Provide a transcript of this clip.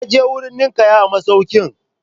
Ya je wurin ninƙaya a masaukin.